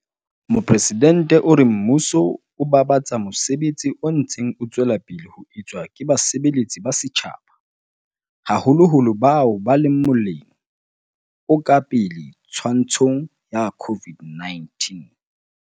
Mopresidente o re mmuso o babatsa mosebetsi o ntseng o tswela pele ho etswa ke basebeletsi ba setjhaba, haholoholo bao ba leng mo-leng o ka pele twantshong ya COVID-19.